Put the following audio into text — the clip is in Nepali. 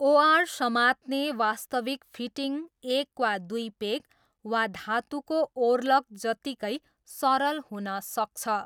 ओआर समात्ने वास्तविक फिटिङ एक वा दुई पेग वा धातुको ओर्लक जत्तिकै सरल हुन सक्छ।